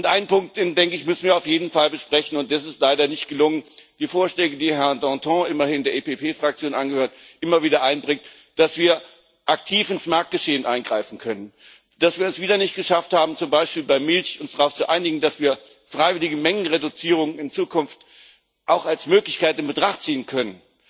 Einen Punkt müssen wir auf jeden Fall besprechen, und das ist leider nicht gelungen Die Vorschläge, die Herr Dantin, der immerhin der PPE Fraktion angehört, immer wieder einbringt, dass wir aktiv ins Marktgeschehen eingreifen können. Dass wir es wieder nicht geschafft haben, uns zum Beispiel bei Milch darauf zu einigen, dass wir freiwillige Mengenreduzierungen in Zukunft auch als Möglichkeit in Betracht ziehen können.